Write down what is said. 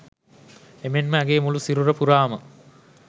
එමෙන්ම ඇගේ මුළු සිරුර පුරාම